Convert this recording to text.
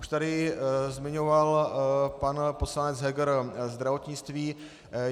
Už tady zmiňoval pan poslanec Heger zdravotnictví.